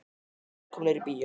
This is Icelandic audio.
Velkomnir í bíó.